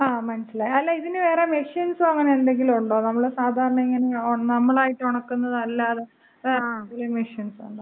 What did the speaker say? ങാ, മനസ്സിലായി. അല്ല, ഇതിന് വേറെ മെഷീൻസൊ അങ്ങനെന്തെങ്കിലും ഉണ്ടോ? നമ്മള് സാധാരണ ഇങ്ങനെ നമ്മളായിട്ട് ഉണക്കുന്നതല്ലാതെ വല്ല മെഷീൻസും ഉണ്ടോ?